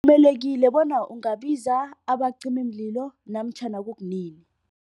bona ungabiza abacimimlilo namatjhana kunini.